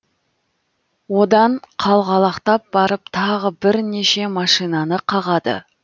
одан қалғалақтап барып тағы бірнеше машинаны қағады